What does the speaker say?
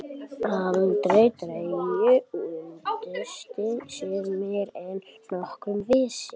Alda tregaði unnusta sinn meira en nokkur vissi.